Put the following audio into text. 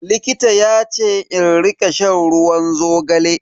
Likita yace in rika shan ruwan zogale.